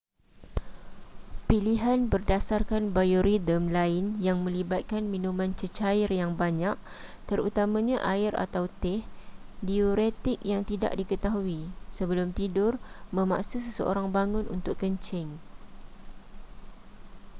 pilihan berdasarkan biorhythm lain yang melibatkan minuman cecair yang banyak terutamanya air atau teh diuretik yang tidak diketahui sebelum tidur memaksa seseorang bangun untuk kencing